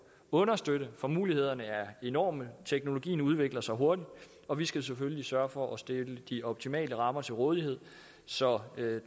understøtte for mulighederne er enorme teknologien udvikler sig hurtigt og vi skal selvfølgelig sørge for at stille de optimale rammer til rådighed så